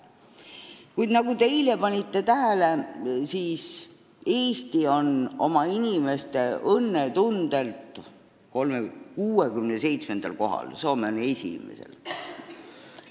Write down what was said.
Kuid nagu te eile lugesite, Eesti on inimeste õnnetundelt maailmas 67. kohal, Soome on esimesel.